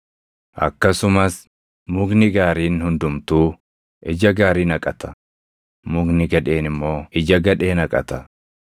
Akkasumas mukni gaariin hundumtuu ija gaarii naqata; mukni gadheen immoo ija gadhee naqata.